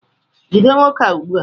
jide nwoke a ugbua!